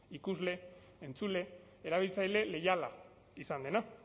ikusle entzule erabiltzaile leiala izan dena